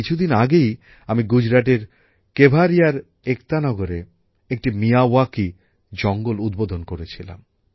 কিছুদিন আগেই আমি গুজরাটের কেভারিয়ার একতা নগরে একটি মিয়াওয়াকি জঙ্গল উদ্বোধন করেছিলাম